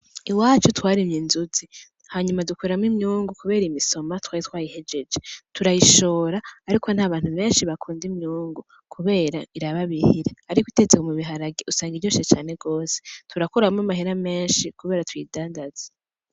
Iwacu twarimye inzuzi hanyuma dukuramwo imyungu kubera imisoma twaritwayihejeje turayishora ariko ntabantu beshi bakunda imyungu kubera irababihira ariko itetse mubiharage usanga iryoshe cane gose turakuramwo amahera meshi kubera tuyidandaza .